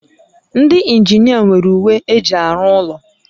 Ndị injinia nwere uwe eji arụ ụlọ